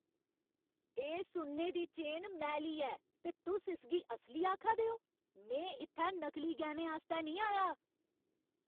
एह् सुन्ने दी चेन मैली ऐ ते तुस इसगी असली आखा दे ओ? में इत्थै नकली गैह्‌नें आस्तै निं आया!